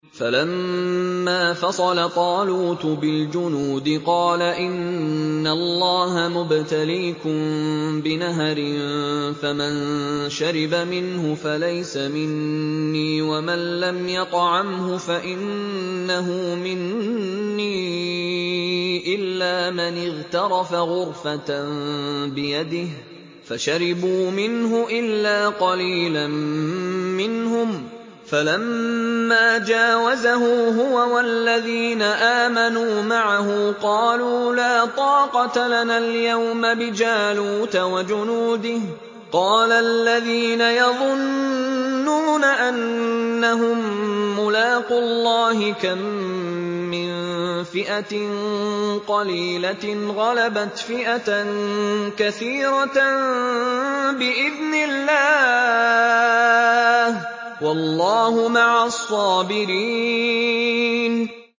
فَلَمَّا فَصَلَ طَالُوتُ بِالْجُنُودِ قَالَ إِنَّ اللَّهَ مُبْتَلِيكُم بِنَهَرٍ فَمَن شَرِبَ مِنْهُ فَلَيْسَ مِنِّي وَمَن لَّمْ يَطْعَمْهُ فَإِنَّهُ مِنِّي إِلَّا مَنِ اغْتَرَفَ غُرْفَةً بِيَدِهِ ۚ فَشَرِبُوا مِنْهُ إِلَّا قَلِيلًا مِّنْهُمْ ۚ فَلَمَّا جَاوَزَهُ هُوَ وَالَّذِينَ آمَنُوا مَعَهُ قَالُوا لَا طَاقَةَ لَنَا الْيَوْمَ بِجَالُوتَ وَجُنُودِهِ ۚ قَالَ الَّذِينَ يَظُنُّونَ أَنَّهُم مُّلَاقُو اللَّهِ كَم مِّن فِئَةٍ قَلِيلَةٍ غَلَبَتْ فِئَةً كَثِيرَةً بِإِذْنِ اللَّهِ ۗ وَاللَّهُ مَعَ الصَّابِرِينَ